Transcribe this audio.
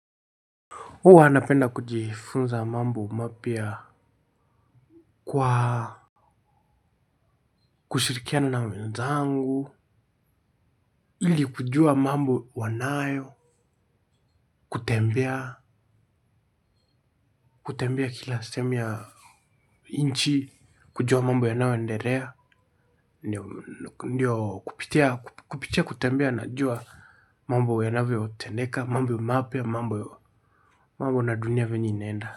Huwa napenda kujifunza mambo mapya kwa kushirikiana na wenzangu, ili kujua mambo wanayo, kutembea, kutembea kila sehemu ya nchi, kujua mambo yanayoendelea, ndio kupitia, kupitia, kutembea, najua mambo yanavyotendeka, mambo mapya, mambo na dunia venye inaenda.